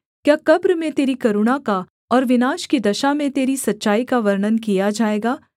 क्या कब्र में तेरी करुणा का और विनाश की दशा में तेरी सच्चाई का वर्णन किया जाएगा